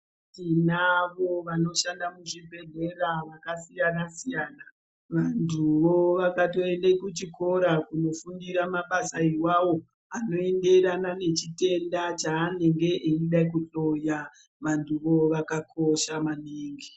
Tinavo vanoshanda muzvibhedhlera zvakasiyana-siyana, vantuwo vakatoenda kuchikora kunofundira mabasa iwawo, anoenderane nechitenda chaanenge eida kuhloya vantu ivavo vakakosha maningi.